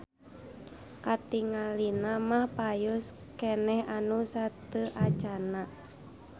Katingalina mah payus keneh anu sateuacanna.